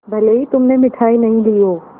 भले ही तुमने मिठाई नहीं ली हो